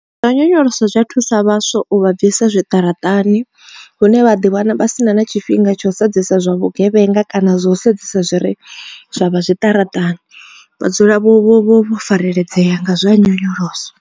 Zwa nyonyoloso zwa thusa vhaswa u vha bvisa zwiṱaraṱani hune vha ḓi wana vha si na na tshifhinga tsho sedzesa zwa vhugevhenga kana zwa u sedzesa zwi re zwavha zwiṱaraṱani vha dzule vho vho fareledzea nga zwa nyonyoloso.